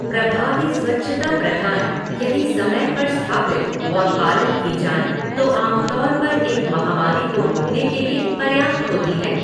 प्रभावी स्वच्छता प्रथाएँ, यदि समय पर स्थापित और पालन की जाएँ, तो आम तौर पर एक महामारी को रोकने के लिए पर्याप्त होती हैं।